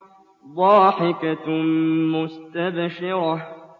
ضَاحِكَةٌ مُّسْتَبْشِرَةٌ